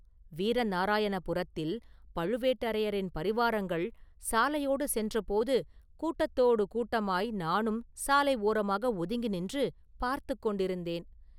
வீரநாராயணபுரத்தில் பழுவேட்டரையரின் பரிவாரங்கள் சாலையோடு சென்றபோது கூட்டத்தோடு கூட்டமாய் நானும் சாலை ஓரமாக ஒதுங்கி நின்று பார்த்துக் கொண்டிருந்தேன்.